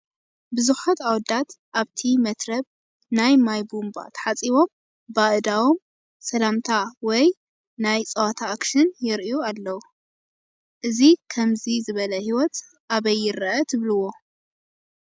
ብዙሓት ኣወዳት ኣብቲ መትረብ ናይ ማይ ቡንባ ተሓፂቦም ብኣእዳዎም ሰላምታ ወይ ናይ ፀወታ ኣክሽን የርእዩ ኣለው፡፡ እዚ ከምዚ ዝበለ ሂወት ኣበይ ይረአ ትብልዎ?